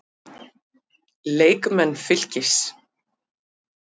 Leikmenn Fylkis